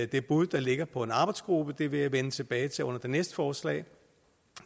det bud der ligger på en arbejdsgruppe det vil jeg vende tilbage til under det næste forslag